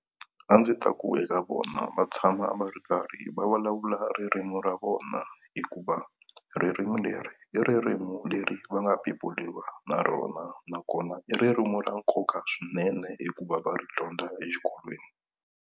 A ndzi ta ku eka vona va tshama va ri karhi va vulavula ririmi ra vona hikuva ririmi leri i ririmi leri va nga beburiwa na rona nakona i ririmi ra nkoka swinene hikuva va ri dyondza exikolweni.